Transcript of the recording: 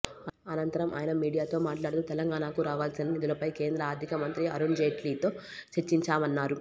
అనంతరం ఆయన మీడియాతో మాట్లాడుతూ తెలంగాణకు రావాల్సిన నిధులపై కేంద్ర ఆర్ధిక మంత్రి అరుణ్ జైట్లీతో చర్చించామన్నారు